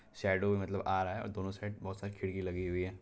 Shadow भी मतलब आ रहा है और दोनों साइड बहुत सारी खिड़की लगी हुई हैं।